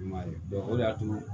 I m'a ye o de y'a to